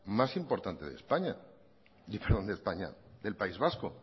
más importante del país vasco